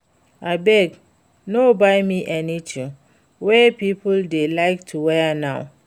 Abeg no buy me anything wey people dey like to wear now